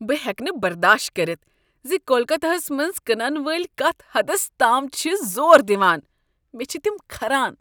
بہٕ ہٮ۪کہٕ نہٕ برداشت کٔرتھ ز کولکتہ ہس منٛز کٕنن وٲلۍ کتھ حدس تام چِھ زور دِوان۔ مےٚ چھ تم كھران۔